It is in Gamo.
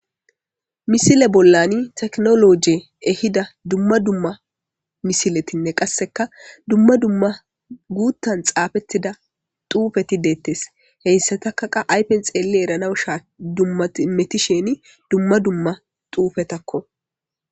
Misile bollani teknologe ehida dumma dumma misiletinne qasseka dumma dumma guuttan xaafettida xuufeti deettes heyssatakaqa aypen xeelle eranaw shaa dummametisheni dumma dumma xuufetakko.